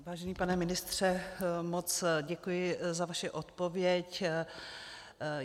Vážený pane ministře, moc děkuji za vaši odpověď.